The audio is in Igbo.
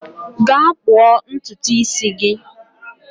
Gaa kpuo ntutu isi gi!